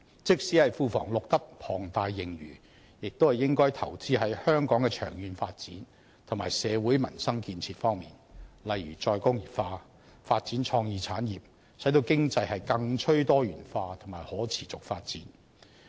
即使庫房錄得龐大盈餘，也應該投資在香港的長遠發展和社會民生建設方面，例如再工業化、發展創意產業，使經濟更趨多元化和可持續發展。